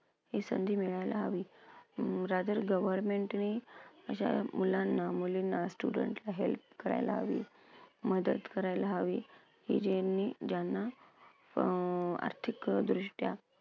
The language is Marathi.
ही संधी मिळायला हवी. अं rather governmentally अशा मुलांना मुलींना students ना help करायला हवी, मदत करायला हवी की ज्यांना अं आर्थिकदृष्ट्या